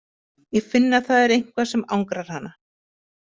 Ég finn að það er eitthvað sem angrar hana.